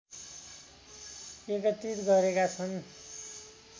एकत्रित गरेका छन्